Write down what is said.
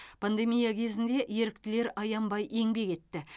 пандемия кезінде еріктілер аянбай еңбек етті